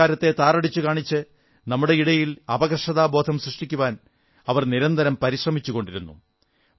നമ്മുടെ സംസ്കാരത്തെ താറടിച്ചു കാണിച്ച് നമ്മുടെയിടയിൽ അപകർഷതാബോധം സൃഷ്ടിക്കുവാൻ അവർ നിരന്തരം പരിശ്രമിച്ചുകൊണ്ടിരുന്നു